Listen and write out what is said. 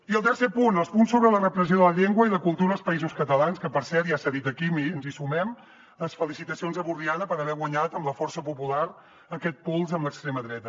i el tercer punt els punts sobre la repressió de la llengua i la cultura als països catalans que per cert ja s’ha dit aquí ens hi sumem les felicitacions a borriana per haver guanyat amb la força popular aquest pols amb l’extrema dreta